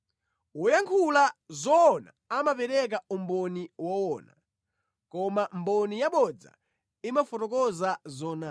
Woyankhula zoona amapereka umboni woona, koma mboni yabodza imafotokoza zonama.